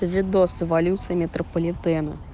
видос эволюции метрополитена